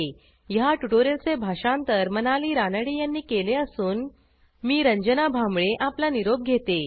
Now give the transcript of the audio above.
ह्या ट्युटोरियलचे भाषांतर मनाली रानडे यांनी केले असून मी रंजना भांबळे आपला निरोप घेते160